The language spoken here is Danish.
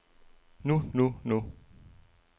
nu nu nu